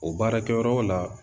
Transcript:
O baarakɛyɔrɔ la